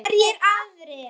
Hverjir aðrir?